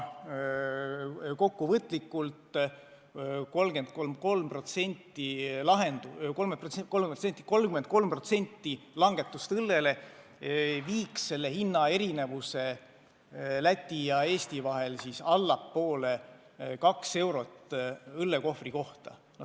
Kokkuvõtlikult: 33% õlleaktsiisi langetust viiks hinnaerinevuse Läti ja Eesti vahel allapoole taset kaks eurot õllekohvri kohta.